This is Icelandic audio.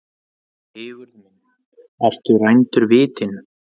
Sigurður minn, ertu rændur vitinu?